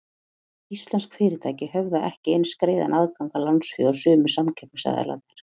Íslensk fyrirtæki höfðu ekki eins greiðan aðgang að lánsfé og sumir samkeppnisaðilarnir.